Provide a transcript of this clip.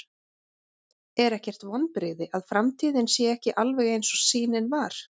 Er ekkert vonbrigði að framtíðin sé ekki alveg eins og sýnin var?